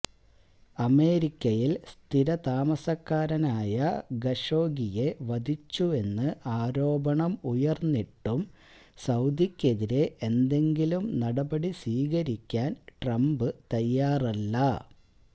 അമേരിക്കയിൽ സ്ഥിരതാമസക്കാരനായ ഖഷോഗിയെ വധിച്ചുവെന്ന് ആരോപണം ഉയർന്നിട്ടും സൌദിക്കെതിരെ ഏന്തെങ്കിലും നടപടി സ്വീകരിക്കാൻ ട്രംപ് തയ്യാറല്ല